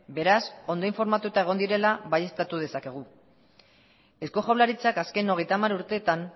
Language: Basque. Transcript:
beraz ondo informatuta egon direla baieztatu dezakegu eusko jaurlaritzak azken hogeita hamar urteetan